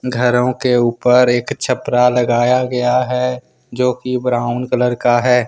घरों के ऊपर एक छपरा लगाया गया है जो कि ब्राउन कलर का है।